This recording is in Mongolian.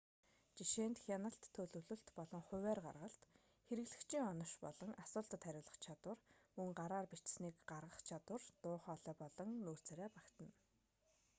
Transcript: жишээнд хяналт төлөвлөлт болон хуваарь гаргалт хэрэглэгчийн онош болон асуултад хариулах чадвар мөн гараар бичсэнийг гаргах чадвар дуу хоолой болон нүүр царай багтана